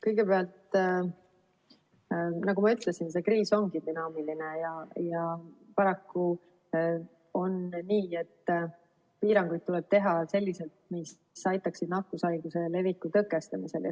Kõigepealt, nagu ma ütlesin, see kriis on dünaamiline ja paraku on nii, et piiranguid tuleb teha selliselt, et need aitaksid kaasa nakkushaiguse leviku tõkestamisele.